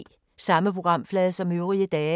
Samme programflade som øvrige dage